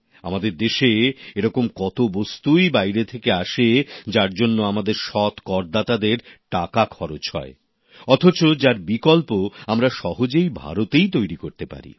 আমাদের দেশে এরকম কত পণ্যই বাইরে থেকে আসে যার জন্য আমাদের সৎ করদাতাদের টাকা খরচ হয় অথচ যার বিকল্প আমরা সহজে ভারতেই তৈরি করতে পারি